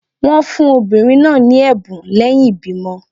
Wọn fun obinrin naa ni ẹbun lẹhin ibimọ